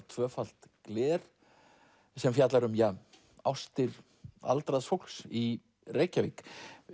tvöfalt gler sem fjallar um ástir aldraðs fólks í Reykjavík